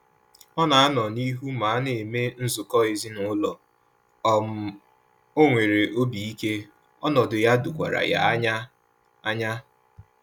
Ọ na anọ n'ihu ma ana eme nzukọ ezinaụlọ, um onwere obi ike, ọnọdụ ya dokwara ya anya anya